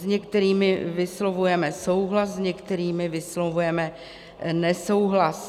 S některými vyslovujeme souhlas, s některými vyslovujeme nesouhlas.